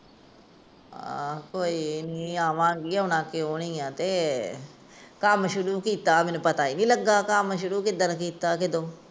ਆ ਕੋਈ ਨਹੀਂ ਆਵਾਂਗੀ, ਆਣਾ ਕਿਉਂ ਨਹੀਂ ਆ ਤੇ ਕੰਮ ਸ਼ੁਰੂ ਕਿੱਤਾ ਮੈਨੂੰ ਪਤਾ ਏ ਨਹੀਂ ਲੱਗਾ ਕਿੱਦਣ ਕਿੱਤਾ ਕਦੋ